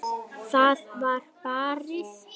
Það var barið.